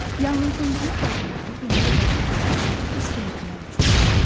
Yanğınsöndürmə balonları yenicə başlayan yanğını tez söndürmək üçündür.